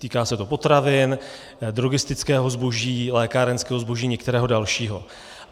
Týká se to potravin, drogistického zboží, lékárenského zboží, některého dalšího.